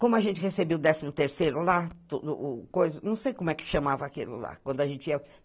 Como a gente recebeu o décimo terceiro lá, não sei como é que chamava aquilo lá.